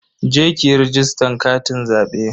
Je ki yi rajistan katin zabe.